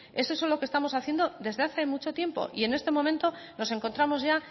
es eso lo que estamos haciendo desde hace mucho tiempo y en este momento nos encontramos ya